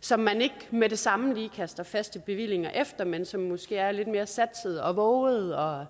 som man ikke med det samme lige kaster faste bevillinger efter men som måske er lidt mere satsede og vovede og